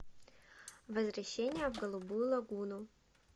возвращение в голубую лагуну